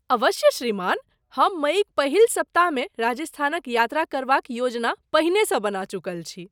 अवश्य श्रीमान। हम मइक पहिल सप्ताहमे राजस्थानक यात्रा करबाक योजना पहिनेसँ बना चुकल छी।